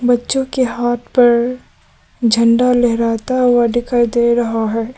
बच्चों के हाथ पर झंडा लहराता हुआ दिखाई दे रहा है।